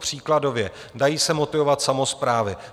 Příkladově - dají se motivovat samosprávy.